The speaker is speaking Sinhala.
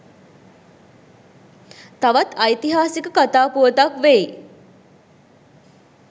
තවත් ඓතිහාසික කතා පුවතක් වෙයි.